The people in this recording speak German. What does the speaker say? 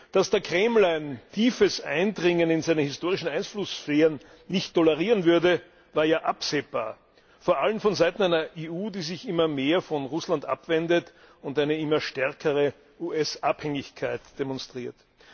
Dass der Kreml ein tiefes Eindringen in seine historischen Einflusssphären nicht tolerieren würde, war ja absehbar vor allem von Seiten einer EU, die sich immer mehr von Russland abwendet und eine immer stärkere US Abhängigkeit demonstriert.